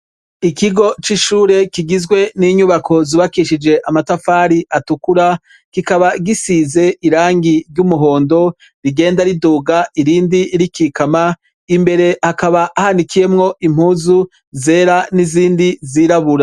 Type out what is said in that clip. Ikigo c'ishure kigizwe n'inyubako zubakishije amatafari atukura kikaba gisize irangi ry'umuhondo rigenda riduga irindi rikikama imbere hakaba hanikiyemwo impuzu zera n'izindi zirabura.